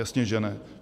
Jasně že ne.